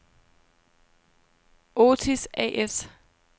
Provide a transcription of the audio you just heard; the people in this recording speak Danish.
Otis A/S